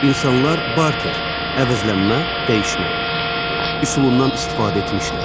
İnsanlar barter, əvəzlənmə, dəyişmə üsulundan istifadə etmişlər.